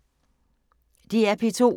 DR P2